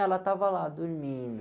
Ela estava lá, dormindo.